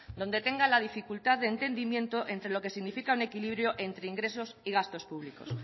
donde tenga la dificultad de entendimiento entre lo que significa un equilibrio entre ingresos y gastos públicos